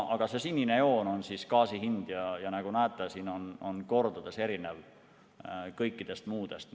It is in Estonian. Aga see sinine joon on gaasi hind, ja nagu näete, see on mitu korda erinev kõikidest muudest.